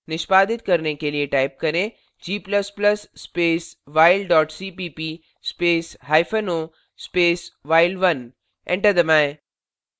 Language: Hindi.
निष्पादित करने के लिए type करें g ++ space while dot cpp space hyphen o space while1 enter दबाएं